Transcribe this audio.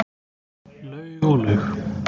Laug og laug.